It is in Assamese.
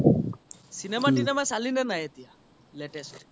cinema তিনেমা চালিনে নাই এতিয়া latest